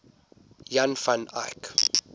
jan van eyck